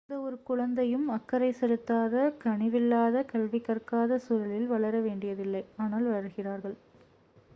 எந்தவொரு குழந்தையும் அக்கறை செலுத்தாத கனிவில்லாத கல்வி கற்காத சூழலில் வளர வேண்டியதில்லை ஆனால் வளர்கிறார்கள்